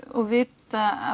og vita